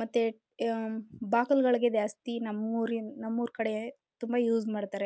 ಮತ್ತೆ ಅಹ್ ಅಹ್ ಬಾಕಳಿಗೆ ಜಾಸ್ತಿ ನಮೂರು ನಮೂರು ಕಡೆ ತುಂಬ ಯೂಸ್ ಮಾಡ್ತಾರೆ.